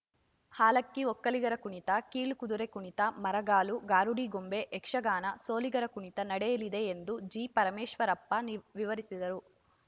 ಹಾಲಕ್ಕಿ ಒಕ್ಕಲಿಗರ ಕುಣಿತ ಕೀಲುಕುದುರೆ ಕುಣಿತ ಮರಗಾಲು ಗಾರುಡಿಗೊಂಬೆ ಯಕ್ಷಗಾನ ಸೋಲಿಗರ ಕುಣಿತ ನಡೆಯಲಿದೆ ಎಂದು ಜಿಪರಮೇಶ್ವರಪ್ಪ ನೀರ್ ವಿವರಿಸಿದರು